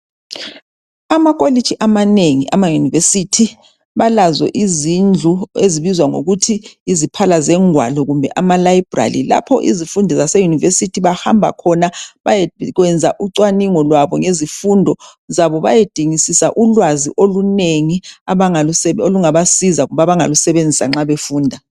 Amakholegi amanengi ama university balazo izindlu ezibizwa ngokuthi yiziphala zegwalo kumbe amalabhurali lopho izifundi zase university bahamba khona bayekwenza ucwaningo lwabo ngezifundo zabo bayedingisisa ulwazi olunengi abangalungabasiza kumbe abangalusebenzisa nxa befunda